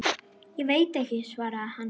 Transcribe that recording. Ég veit ekki, svaraði hann.